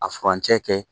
A furancɛ kɛ